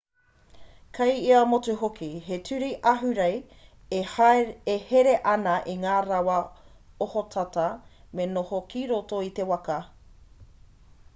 kei ia motu hoki he ture ahurei e here ana i ngā rawa ohotata me noho ki roto i te waka